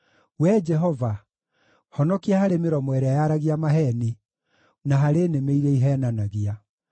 Wee Jehova, honokia harĩ mĩromo ĩrĩa yaragia maheeni, na harĩ nĩmĩ iria iheenanagia.